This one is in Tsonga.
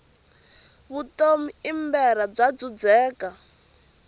vutomi i mberha bya dzudzeka